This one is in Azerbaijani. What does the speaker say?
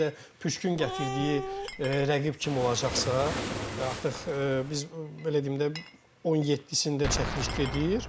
Bir də püşkün gətirdiyi rəqib kim olacaqsa, artıq biz belə deyim də, 17-sində çəkiliş gedir.